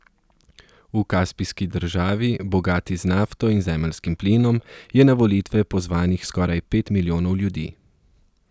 V kaspijski državi, bogati z nafto in zemeljskim plinom, je na volitve pozvanih skoraj pet milijonov ljudi.